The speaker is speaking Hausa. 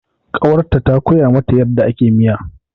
Ƙawarta ta koya mata yadda ake miya.